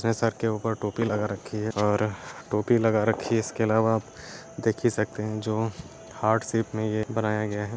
Sir के ऊपर टोपी लगा रखी है और टोपी लगा रखी है इसके अलावा देख ही सकते हैं जो हार्ट शेप में यह बनाया गया है।